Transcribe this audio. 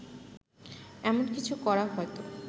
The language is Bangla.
এমন কিছু করা হয়তো